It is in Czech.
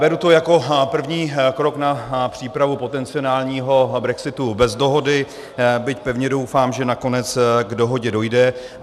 Beru to jako první krok na přípravu potenciálního brexitu bez dohody, byť pevně doufám, že nakonec k dohodě dojde.